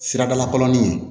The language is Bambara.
Siradalakalanin